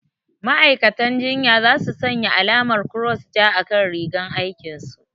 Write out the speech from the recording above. Ma'aikatan jinya za su sanya alamar kross ja a kan rigar aikin su